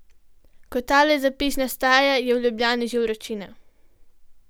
Ko tale zapis nastaja, je v Ljubljani že vročina.